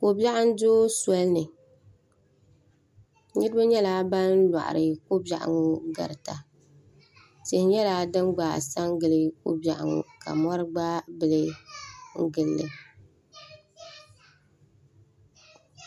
Ko'biɛɣu n-do soli ni ka niriba nyɛla ban lɔɣiri li tihi nyɛla din gba ka do n-gili ko'biɛɣu ŋɔ ka mɔri gba n-gili li.